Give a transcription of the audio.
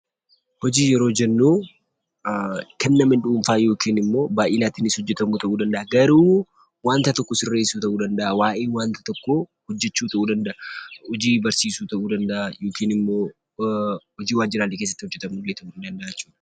Hojii yeroo jennuu kan nama dhuunfaa yokin immoo baay'inaatiinis hojjetamuu danda'a garuu wanta tokko sirreessuu ta'uu danda'a, waa'ee wanta tokkoo hojjechuu ta'uu danda'aa, hojii barsiisuu ta'uu danda'aa yokin immoo hojii waajjiraalee keessatti hojjetamullee ta'uu danda'aa jechuudha.